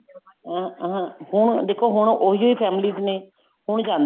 ਅਹ ਅਹ ਹੁਣ ਦੇਖੋ ਹੁਣ ਉਹੀਓ families ਨੇ ਹੁਣ